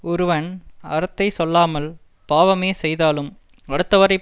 ஒருவன் அறத்தை சொல்லாமல் பாவமே செய்தாலும் அடுத்தவரைப்